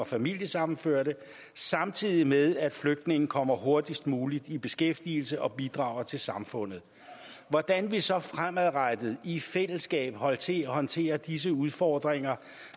og familiesammenførte samtidig med at flygtninge kommer hurtigst muligt i beskæftigelse og bidrager til samfundet hvordan vi så fremadrettet i fællesskab håndterer håndterer disse udfordringer